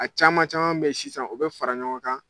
A caman caman bɛ ye sisan o bɛ fara ɲɔgɔn kan.